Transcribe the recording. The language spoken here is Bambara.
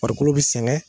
Farikolo bɛ sɛgɛn